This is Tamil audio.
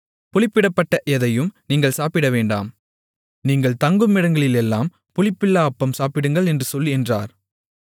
புளிப்பிடப்பட்ட எதையும் நீங்கள் சாப்பிடவேண்டாம் நீங்கள் தங்குமிடங்களிலெல்லாம் புளிப்பில்லா அப்பம் சாப்பிடுங்கள் என்று சொல் என்றார்